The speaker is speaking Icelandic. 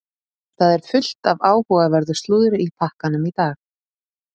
Það er fullt af áhugaverðu slúðri í pakkanum í dag.